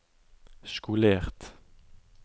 skolert